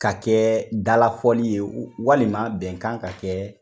Ka kɛ dalafɔli ye walima bɛnkan ka kɛ